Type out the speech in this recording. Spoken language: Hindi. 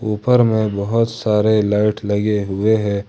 ऊपर में बहुत सारे लाइट लगे हुए हैं।